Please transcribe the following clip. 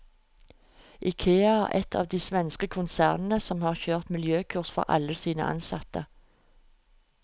Ikea er ett av de svenske konsernene som har kjørt miljøkurs for alle sine ansatte.